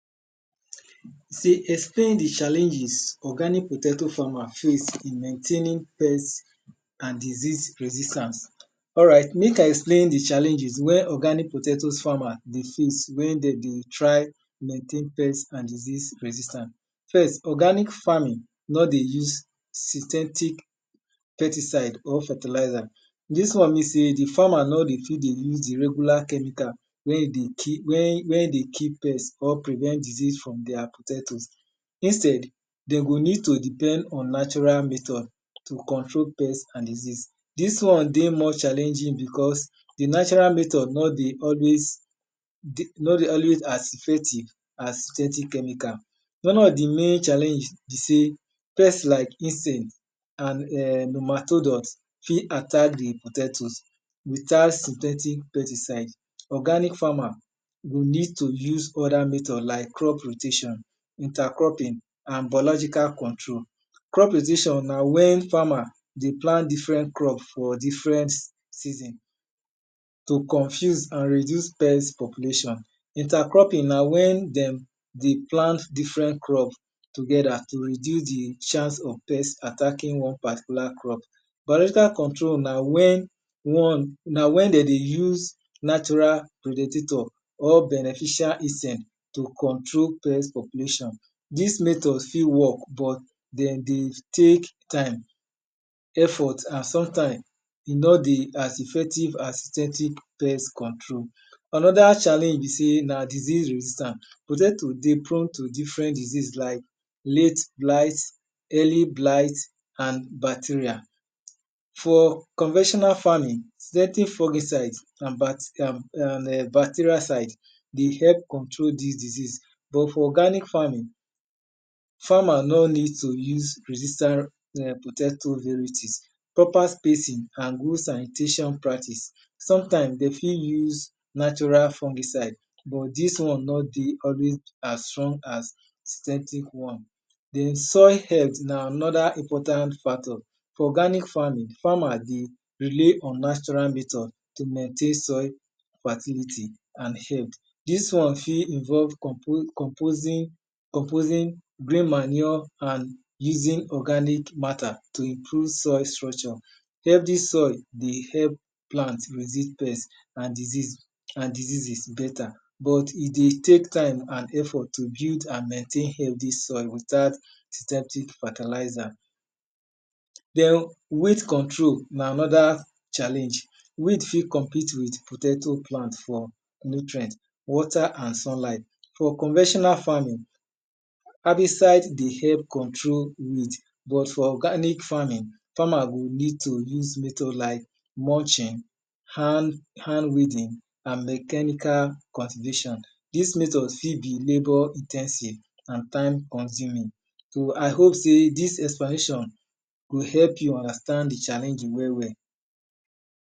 Explain di challenges organic potato famer face in maintaining pest and diseases resistance. Alright mek I explain di challenges wey organic potato’s farmer dey face wen de dey try maintain pest and diseas resistance. First organic farming nor dey use synthetic pesticide or fertilizer. Dis one mean sey di farmer nor dey use di regular chemical wen dey kill pest or prevent diseas from their potatoes. Instead, kden go need to depend on natural methos to control pest and disease. Dis one dey challenging because di natural method nor dey dey always as effective as chemical. One of di main challenge be sey pest like insect fit attack di potatoes without synthetic pesticide. Organic farmer need to use other method like crop rotation and biological control. Crop rotation na wen farmer dey plant different crop for different season to confuse and reduce pest population. Inter-cropping na en de dey plant different crops together to reduce di hance of pest attacking one particular crop. Biological control na wen de dey use natural or beneficial insect to control pet population. Dis method fit work or den dey tek time and sometime, e nor dey as effective as synthetic pest control. Onoda challenge be sey na disease resistance, potato dey prone to different disease like late blight, early blight and bacterial. For convectional farming, synthetic fungnicide and bacteriacide dey help control dis disease. But fr organic farming, farmer nor need to use resistance potato varieties. Proper spacing and good sanitation practice, sometime den fit use naturl fungiside but dis one nor dey always as strong as synthetic one. Di soil health na anod important factor. Organic farming, farmer dey rely on natural method to maintain soil activity. Dis soil f it involve composite bleem manure and easy organic matter to impr o ve soil structure healthy sil dey help plant resist pest and diseases beta but e dey tek time nd effort to build and maintain healthy soil without fertilizer. Weed control na anoda challenge. Weed fit compete with potato for nutrient, water and sunlight. For conventional farming, herbicide dey help control weed ,but for organic farming, farmers go need to se method like hand weeding and mechanical cultivation. Dis method fit be labout in ten sive and time consuming. So I hope sey dis explanation go help you understand di challenges well well.